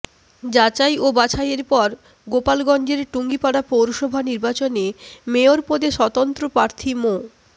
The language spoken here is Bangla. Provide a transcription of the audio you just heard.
যাচাই ও বাছাইয়ের পর গোপালগঞ্জের টুঙ্গিপাড়া পৌরসভা নির্বাচনে মেয়র পদে স্বতন্ত্র প্রার্থী মো